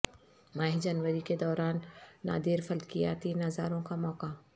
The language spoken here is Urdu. ماہ جنوری کے دوران نادر فلکیاتی نظاروں کا موقع